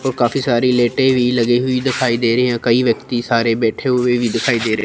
और काफी सारी लेटे भी लगी हुई दिखाई दे रहीं हैं कई व्यक्ति सारे बैठे हुए भी दिखाई दे रहे--